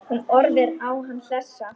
Hún horfir á hann hlessa.